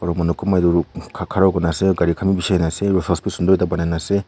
manu kunba etu kha khara kurikena ase gari khan bi beshi ahikena ase aro sundor ekta banaikena ase.